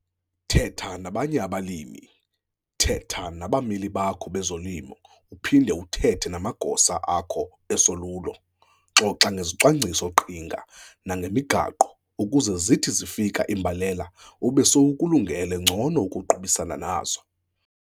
Thetha nabanye abalimi, thetha nabameli bakho bezolimo uphinde uthethe namagosa akho esolulo. Xoxa ngezicwangciso-qhinga nangemigaqo ukuze zithi zifika iimbalela ube sowukulungene ngcono ukuqubisana nazo.